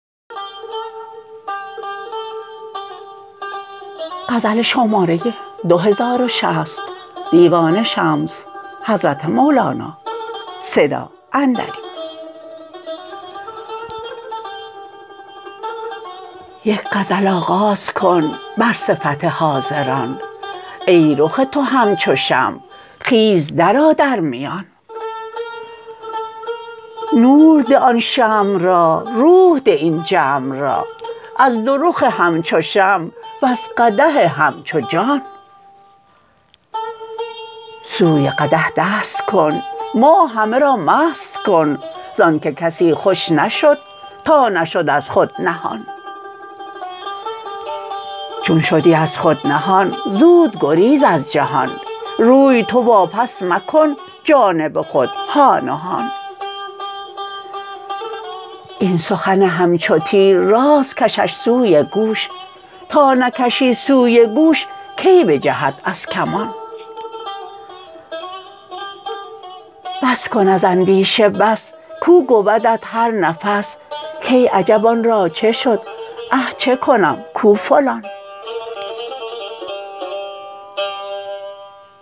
یک غزل آغاز کن بر صفت حاضران ای رخ تو همچو شمع خیز درآ در میان نور ده آن شمع را روح ده این جمع را از دو رخ همچو شمع وز قدح همچو جان سوی قدح دست کن ما همه را مست کن زآنک کسی خوش نشد تا نشد از خود نهان چون شدی از خود نهان زود گریز از جهان روی تو واپس مکن جانب خود هان و هان این سخن همچو تیر راست کشش سوی گوش تا نکشی سوی گوش کی بجهد از کمان بس کن از اندیشه بس کاو گویدت هر نفس کای عجب آن را چه شد اه چه کنم کو فلان